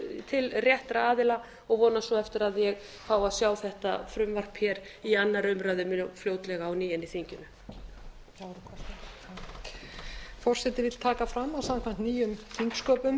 til réttra aðila og vonast svo eftir að ég fái að sjá þetta frumvarp hér í annarri umræðu mjög fljótlega á ný inn í þingið